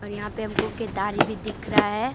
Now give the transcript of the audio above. यहां पे हमको केतारी भी दिख रहा है।